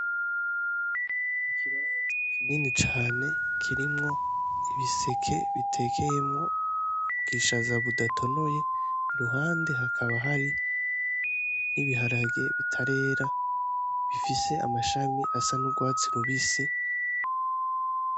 Ikibanza kinini cane kirimwo ibiseke bitekeyemwo bwishaza budatonoye i ruhande hakaba hari n'ibiharage bitarera bifise amashami asa n'urwatsi rubisi.